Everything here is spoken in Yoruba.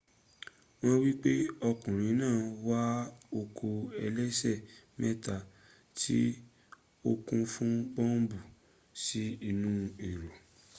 won nipe okunrin naa wa oko elese meta ti o kun fun bombu si inu ero